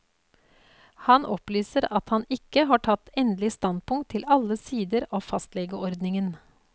Han opplyser at han ikke har tatt endelig standpunkt til alle sider av fastlegeordningen.